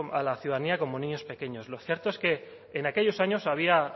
a la ciudadanía como niños pequeños lo cierto es que en aquellos años había